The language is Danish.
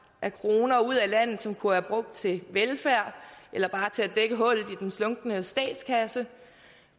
af kroner ud af landet som kunne være brugt til velfærd eller bare til at dække hullet i den slunkne statskasse